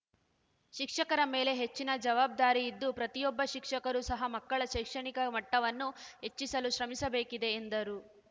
ಶಿಕ್ಷಕರ ಮೇಲೆ ಹೆಚ್ಚಿನ ಜವಾಬ್ದಾರಿ ಇದ್ದು ಪ್ರತಿಯೊಬ್ಬ ಶಿಕ್ಷಕರೂ ಸಹ ಮಕ್ಕಳ ಶೈಕ್ಷಣಿಕ ಮಟ್ಟವನ್ನು ಹೆಚ್ಚಿಸಲು ಶ್ರಮಿಸಬೇಕಿದೆ ಎಂದರು